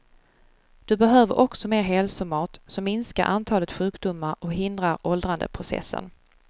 Du behöver också mer hälsomat, som minskar antalet sjukdomar och hindrar åldrandeprocessen.